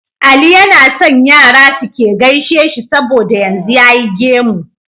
Ali yAna son Yara suke gaishe shi saboda yanzu yayi gemu